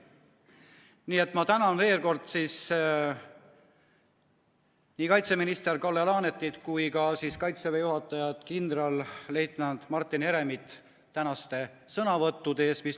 Nii et ma tänan veel kord nii kaitseminister Kalle Laanetit kui ka Kaitseväe juhatajat kindralleitnant Martin Heremit tänaste sõnavõttude eest.